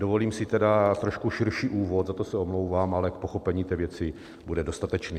Dovolím si tedy trošku širší úvod, a to se omlouvám, ale k pochopení té věci bude dostatečný.